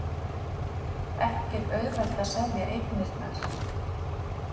Ekki auðvelt að selja eignirnar